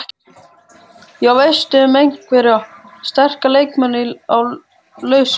Já, veistu um einhverja sterka leikmenn á lausu?